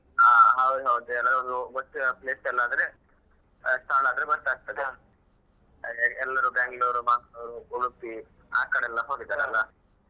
ಹ ಹೌದೌದು ಎಲ್ಲರಿಗು ಗೊತ್ತಿರುವ place ಅಲ್ಲದ್ರೆ ಸ್ಥಳ ಆದ್ರೆ ಗೊತ್ತಾಗ್ತದೆ ಅಂದ್ರೆ ಎಲ್ಲರೂ Bangalore Mangaluru Udupi ಆ ಕಡೆಲ್ಲಾ ಹೋಗಿದಾರಲ್ಲಾ .